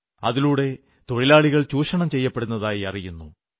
അതിലൂടെ തൊഴിലാളികൾ ചൂഷണം ചെയ്യപ്പെടുന്നതായി അറിയുന്നു